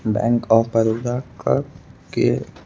bank of Baroda का के--